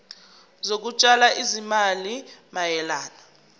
zokutshala izimali mayelana